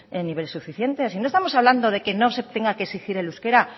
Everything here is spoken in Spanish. en nivel suficiente si no estamos hablando de que no se tenga que exigir el euskera